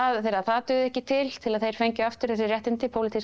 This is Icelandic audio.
þegar það dugði ekki til til að þeir fengju aftur þessi réttindi pólitískra